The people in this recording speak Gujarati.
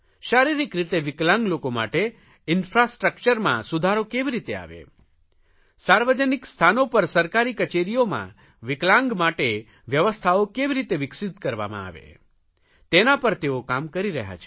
શારીરિક રીતે વિકલાંગ લોકો માટે ઇન્ફ્રાસ્ટ્રક્ચરમાં સુધારો કેવી રીતે આવે સાર્વજનિક સ્થાનો પર સરકારી કચેરીઓમાં વિકલાંગ માટે વ્યવસ્થાઓ કેવી રીતે વિકસિત કરવામાં આવે તેના પર તેઓ કામ કરી રહ્યા છે